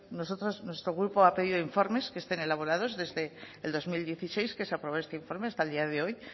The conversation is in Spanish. nosotros nuestro grupo ha pedido informes que estén elaborados desde el dos mil dieciséis que se aprobó informe hasta el día de hoy